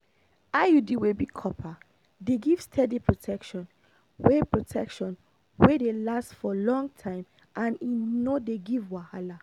iud wey be copper dey give steady protection wey protection wey dey last for long time and e no dey give wahala.